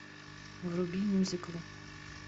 вруби мюзикл